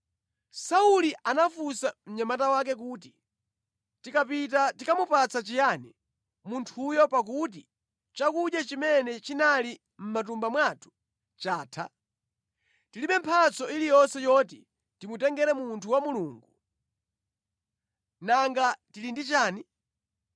Sauli anafunsa mnyamata wake kuti, “Tikapita tikamupatsa chiyani munthuyo pakuti chakudya chimene chinali mʼmatumba mwathu chatha? Tilibe mphatso iliyonse yoti timutengere munthu wa Mulungu. Nanga tili ndi chiyani?”